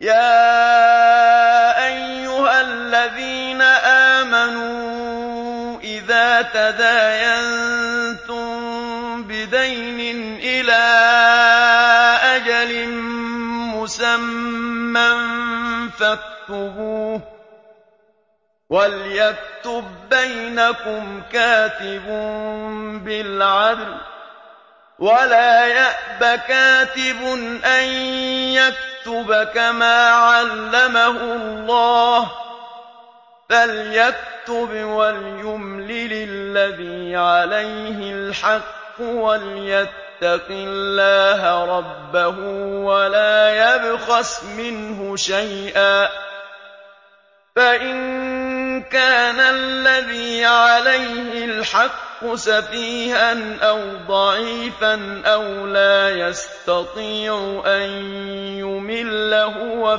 يَا أَيُّهَا الَّذِينَ آمَنُوا إِذَا تَدَايَنتُم بِدَيْنٍ إِلَىٰ أَجَلٍ مُّسَمًّى فَاكْتُبُوهُ ۚ وَلْيَكْتُب بَّيْنَكُمْ كَاتِبٌ بِالْعَدْلِ ۚ وَلَا يَأْبَ كَاتِبٌ أَن يَكْتُبَ كَمَا عَلَّمَهُ اللَّهُ ۚ فَلْيَكْتُبْ وَلْيُمْلِلِ الَّذِي عَلَيْهِ الْحَقُّ وَلْيَتَّقِ اللَّهَ رَبَّهُ وَلَا يَبْخَسْ مِنْهُ شَيْئًا ۚ فَإِن كَانَ الَّذِي عَلَيْهِ الْحَقُّ سَفِيهًا أَوْ ضَعِيفًا أَوْ لَا يَسْتَطِيعُ أَن يُمِلَّ هُوَ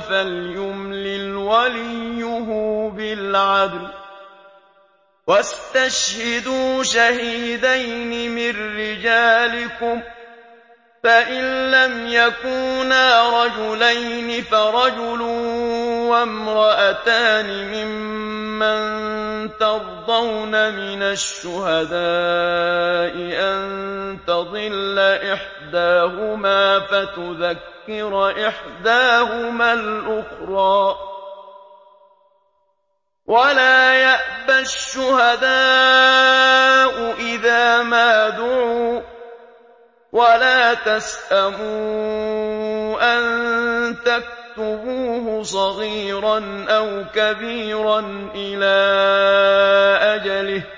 فَلْيُمْلِلْ وَلِيُّهُ بِالْعَدْلِ ۚ وَاسْتَشْهِدُوا شَهِيدَيْنِ مِن رِّجَالِكُمْ ۖ فَإِن لَّمْ يَكُونَا رَجُلَيْنِ فَرَجُلٌ وَامْرَأَتَانِ مِمَّن تَرْضَوْنَ مِنَ الشُّهَدَاءِ أَن تَضِلَّ إِحْدَاهُمَا فَتُذَكِّرَ إِحْدَاهُمَا الْأُخْرَىٰ ۚ وَلَا يَأْبَ الشُّهَدَاءُ إِذَا مَا دُعُوا ۚ وَلَا تَسْأَمُوا أَن تَكْتُبُوهُ صَغِيرًا أَوْ كَبِيرًا إِلَىٰ أَجَلِهِ ۚ ذَٰلِكُمْ أَقْسَطُ عِندَ اللَّهِ وَأَقْوَمُ لِلشَّهَادَةِ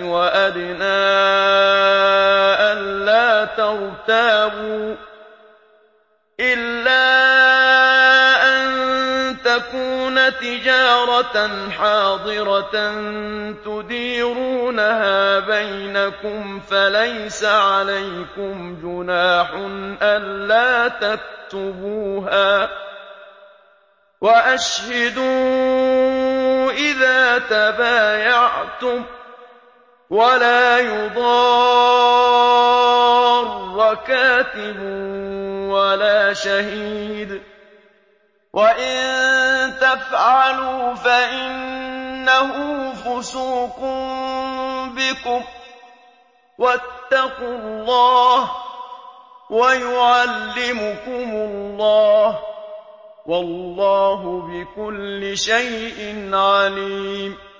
وَأَدْنَىٰ أَلَّا تَرْتَابُوا ۖ إِلَّا أَن تَكُونَ تِجَارَةً حَاضِرَةً تُدِيرُونَهَا بَيْنَكُمْ فَلَيْسَ عَلَيْكُمْ جُنَاحٌ أَلَّا تَكْتُبُوهَا ۗ وَأَشْهِدُوا إِذَا تَبَايَعْتُمْ ۚ وَلَا يُضَارَّ كَاتِبٌ وَلَا شَهِيدٌ ۚ وَإِن تَفْعَلُوا فَإِنَّهُ فُسُوقٌ بِكُمْ ۗ وَاتَّقُوا اللَّهَ ۖ وَيُعَلِّمُكُمُ اللَّهُ ۗ وَاللَّهُ بِكُلِّ شَيْءٍ عَلِيمٌ